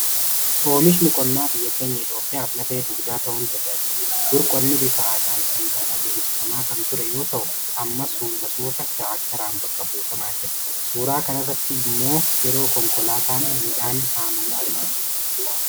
Oomishni qonnaa biyya keenya Itoophiyaaf lafee dugdaa ta'uun tajaajila. Dur qonni bifa aadaan sangaan adeemsifamaa kan ture yoo ta’u amma suuta suuta tiraakteraan bakka buufamaa jira. Suuraa kanarratti immoo yeroo konkolaataan midhaan haamamu argina.